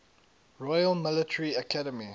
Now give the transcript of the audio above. royal military academy